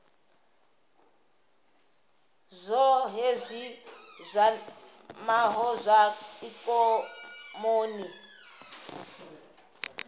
zwohe zwi kwamaho zwa ikonomi